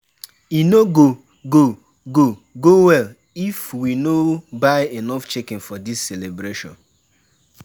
E no go go go go well if we no buy enough chicken for dis celebration.